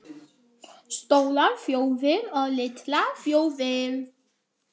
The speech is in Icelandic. STÓRAR ÞJÓÐIR OG LITLAR ÞJÓÐIR